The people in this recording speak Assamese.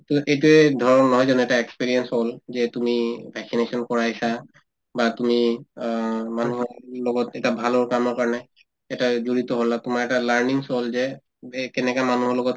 to এইটোয়ে ধৰক নহয় জানো এটা experience হল যে তুমি vaccination কৰাইছা বা তুমি অ মানুহ লগত এটা ভালৰ কামৰ কাৰণে এটা জড়িত হলা তোমাৰ এটা learning হল যে কেনেকে মানুহৰ লগত